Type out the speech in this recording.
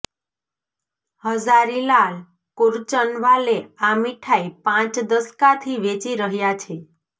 હઝારી લાલ કુરચન વાલે આ મીઠાઈ પાંચ દશકાથી વેચી રહ્યા છે